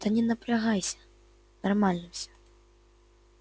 да не напрягайся нормально всё